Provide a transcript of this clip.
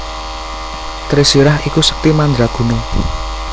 Trisirah iku sekti madraguna